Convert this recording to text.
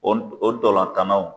o ntolantannaw.